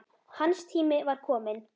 Hans tími var kominn.